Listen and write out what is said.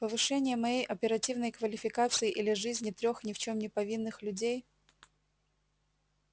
повышение моей оперативной квалификации или жизни трёх ни в чём не повинных людей